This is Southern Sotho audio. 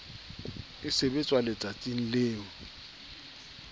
e sebetswa letsatsing leo e